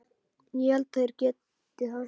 Ég held þeir geti það.